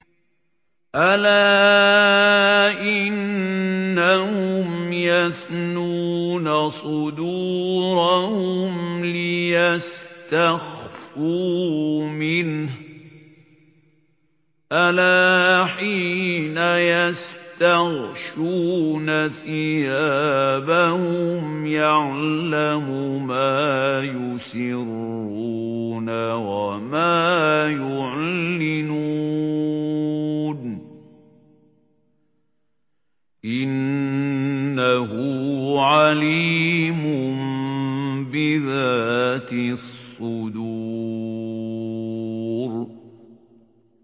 أَلَا إِنَّهُمْ يَثْنُونَ صُدُورَهُمْ لِيَسْتَخْفُوا مِنْهُ ۚ أَلَا حِينَ يَسْتَغْشُونَ ثِيَابَهُمْ يَعْلَمُ مَا يُسِرُّونَ وَمَا يُعْلِنُونَ ۚ إِنَّهُ عَلِيمٌ بِذَاتِ الصُّدُورِ